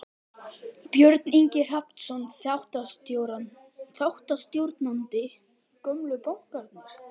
Björn Ingi Hrafnsson, þáttastjórnandi: Gömlu bankarnir?